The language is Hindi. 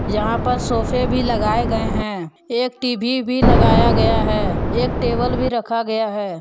यहां पर सोफे भी लगाए गए हैं एक टी_वी भी लगाया गया है एक टेबल भी रखा गया है।